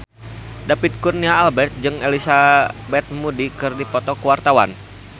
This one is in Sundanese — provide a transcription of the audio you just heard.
David Kurnia Albert jeung Elizabeth Moody keur dipoto ku wartawan